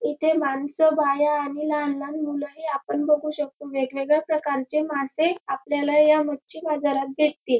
इथे मानस बाया आणि लहान लहान मूल ही आपण बघू शकतो वेगवेगळ्या प्रकारचे मासे आपल्याला या मच्छी बाजारात भेटतील.